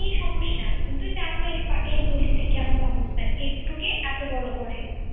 এই সমস্যা তুমি তো জানোই এই গলিতে কেমন অবস্থা একটুকে এত বড় করে